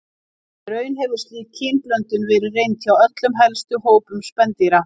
Í raun hefur slík kynblöndun verið reynd hjá öllum helstu hópum spendýra.